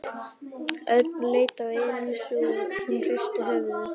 Örn leit á Elísu og hún hristi höfuðið.